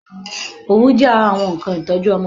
Òwú jẹ́ ara àwọn nnkan ìtọ́jú ọmọdé